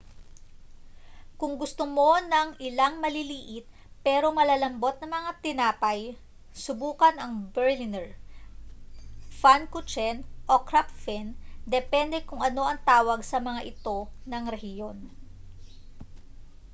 kung gusto mo ng ilang maliliit pero malalambot na mga tinapay subukan ang berliner pfannkuchen o krapfen depende kung ano ang tawag sa mga ito ng rehiyon